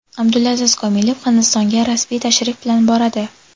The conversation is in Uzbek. Abdulaziz Komilov Hindistonga rasmiy tashrif bilan boradi.